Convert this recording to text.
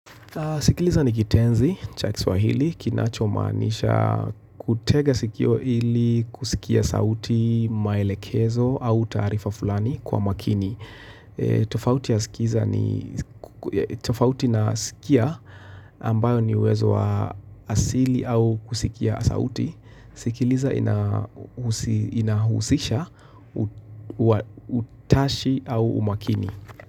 Sikiliza ni kitenzi, cha kiswahili, kinacho maanisha kutega sikio ili kusikia sauti maelekezo au taarifa fulani kwa makini. Tofauti na sikia ambayo ni uwezo wa asili au kusikia sauti, sikiliza inahusisha utashi au umakini.